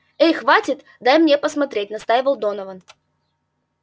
эй хватит дай мне посмотреть настаивал донован